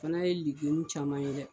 O fana ye caman ye dɛ